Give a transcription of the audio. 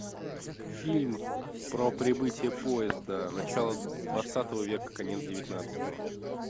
фильм про прибытие поезда начало двадцатого века конец девятнадцатого